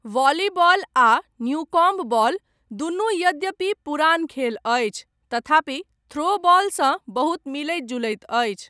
Volleyball आ Newcomb ball, दुनू, यद्यपि पुरान खेल अछि, तथापि थ्रो बॉलसँ बहुत मिलैत जुलैत अछि।